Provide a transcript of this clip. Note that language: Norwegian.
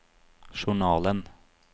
journalen